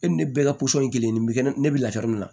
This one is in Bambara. E ni ne bɛɛ ka ye kelen ye nin bɛ kɛ ne bɛ lafiya min na